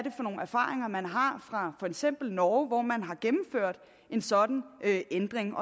er for nogle erfaringer man har fra for eksempel norge hvor man har gennemført en sådan ændring